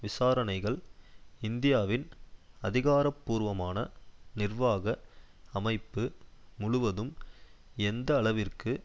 விசாரணைகள் இந்தியாவின் அதிகாரபூர்வமான நிர்வாக அமைப்பு முழுவதும் எந்த அளவிற்கு